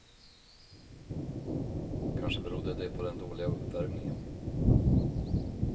Kanske berodde det på den dåliga uppvärmningen.